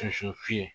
fiyɛ